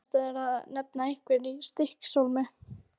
Erfiðast er að nefna einhverja í Stykkishólmi.